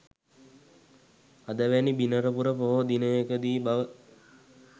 අද වැනි බිනරපුර පොහෝ දිනකදී බව